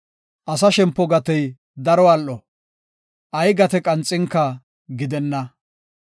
Asa shempo gatey daro al7o; Ay gate qanxinka gidenna.